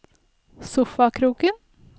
sofakroken